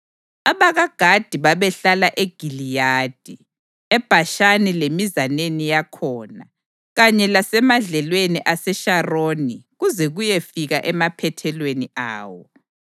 AbakaGadi babehlala eGiliyadi, eBhashani lemizaneni yakhona, kanye lasemadlelweni aseSharoni kuze kuyefika emaphethelweni awo.